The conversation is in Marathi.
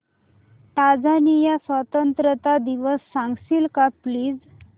टांझानिया स्वतंत्रता दिवस सांगशील का प्लीज